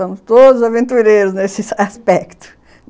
Somos todos aventureiros nesse aspecto